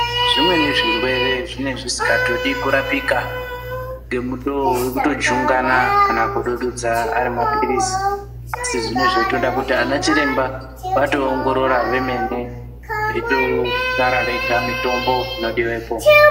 Zvimweni zvirwere zvinenge zvisingatodi kurapika ngetutowo wekutojungana kana kudududza ari mapilizi asi zvinenge zvitoda kuti anachiremba vatowongorora vemene veitotaura vega mitombo inodiwepo.